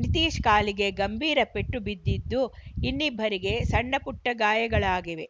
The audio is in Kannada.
ನಿತೀಶ್‌ ಕಾಲಿಗೆ ಗಂಭೀರ ಪೆಟ್ಟು ಬಿದ್ದಿದ್ದು ಇನ್ನಿಬ್ಬರಿಗೆ ಸಣ್ಣಪುಟ್ಟಗಾಯಗಳಾಗಿವೆ